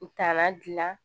U taara gilan